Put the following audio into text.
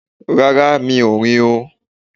Rárá, Mi ò rìn o.